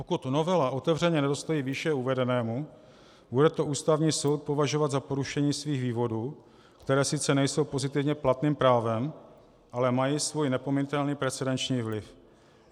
Pokud novela otevřeně nedostojí výše uvedenému, bude to Ústavní soud považovat za porušení svých vývodů, které sice nejsou pozitivně platným právem, ale mají svůj neopominutelný precedenční vliv.